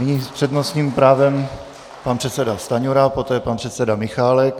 Nyní s přednostním právem pan předseda Stanjura, poté pan předseda Michálek.